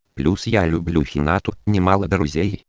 плюс я люблю хинату не мало друзей